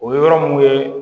O ye yɔrɔ mun ye